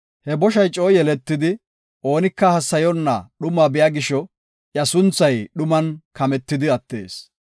He boshay coo yeletidi oonika hassayonna dhumaa biya gisho iya sunthay dhuman kametidi attees.